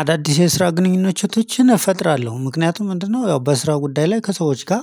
አዳዲስ የስራ ግንኙነቶችን እፈጥራለሁ ምክንያቱም ምንድነው ያው በስራ ጉዳይ ላይ ከሰዎች ጋር